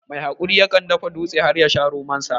Mai haƙuri ya kan dafa dutse har ya sha romon sa